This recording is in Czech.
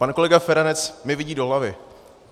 Pan kolega Feranec mi vidí do hlavy.